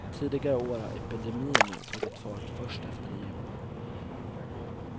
Tidigare år har epidemierna tagit fart först efter nyår.